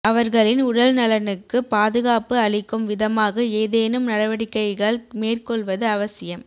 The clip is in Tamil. அவர்களின் உடல் நலனுக்குப் பாதுகாப்பு அளிக்கும் விதமாக ஏதேனும் நடவடிக்கைகள் மேற்கொள்வது அவசியம்